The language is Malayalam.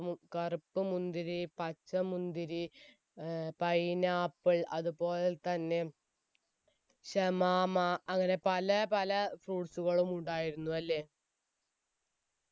കറുപ്പ് മുന്തിരി പച്ച മുന്തിരി ഏർ പൈനാപ്പിൾ അതുപോലെ തന്നെ ഷമമാ അങ്ങനെ പല പല fruits സുകളും ഉണ്ടായിരുന്നു അല്ലെ